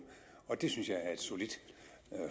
og det synes jeg er et solidt